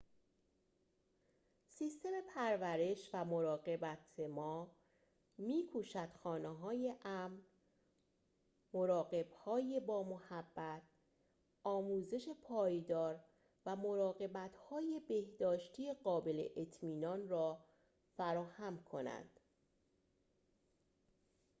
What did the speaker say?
سیستم پرورش و مراقبت ما می‌کوشد خانه‌های امن مراقب‌های با محبت آموزش پایدار و مراقبت‌های بهداشتی قابل اطمینان را فراهم کند